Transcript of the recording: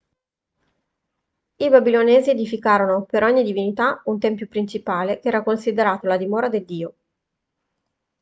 i babilonesi edificarono per ogni divinità un tempio principale che era considerato la dimora del dio